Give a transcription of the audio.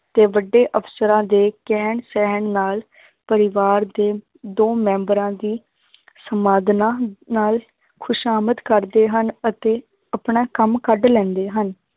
ਤੇ ਵੱਡੇ ਅਫ਼ਸਰਾਂ ਦੇ ਕਹਿਣ ਸਹਿਣ ਨਾਲ ਪਰਿਵਾਰ ਦੇ ਦੋ ਮੈਂਬਰਾਂ ਦੀ ਸੰਵਾਦਨਾ ਨਾਲ ਖ਼ੁਸ਼ਾਮਦ ਕਰਦੇ ਹਨ ਅਤੇ ਆਪਣਾ ਕੰਮ ਕੱਢ ਲੈਂਦੇ ਹਨ,